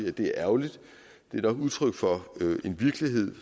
at det er ærgerligt det er nok udtryk for en virkelighed